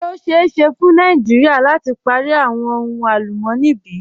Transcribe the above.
Ṣe o ṣeẹ ṣe fun Nàìjíríà lati pari awọn ohun alùmọ̀ní bí?